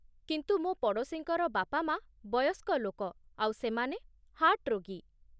କିନ୍ତୁ, ମୋ' ପଡ଼ୋଶୀଙ୍କର ବାପାମାଆ ବୟସ୍କ ଲୋକ ଆଉ ସେମାନେ ହାର୍ଟ୍ ରୋଗୀ ।